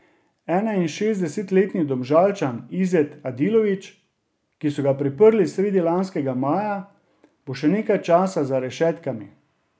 Enainšestdesetletni Domžalčan Izet Adilović, ki so ga priprli sredi lanskega maja, bo še nekaj časa za rešetkami.